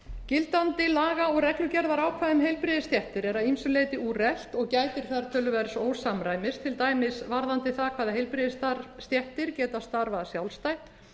gildandi laga og reglugerðarákvæði um heilbrigðisstéttir eru að ýmsu leyti úrelt og gætir þar töluverðs ósamræmis til dæmis varðandi það hvaða heilbrigðisstéttir geta starfað sjálfstætt